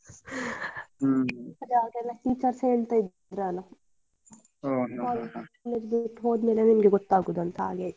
ಹ್ಮ್‌ ಅದೇ ಆಗೆಲ್ಲ teachers ಹೇಳ್ತಾ ಇದ್ರಲ್ಲ college ಬಿಟ್ಟು ಹೋದ್ಮೇಲೆ ನಿಮಗೆ ಗೊತ್ತಗುದು ಅಂತ ಹಾಗೆ ಆಯ್ತ.